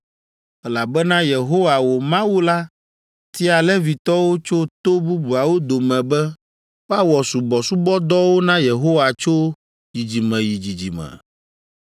elabena Yehowa, wò Mawu la tia Levitɔwo tso to bubuawo dome be woawɔ subɔsubɔdɔwo na Yehowa tso dzidzime yi dzidzime.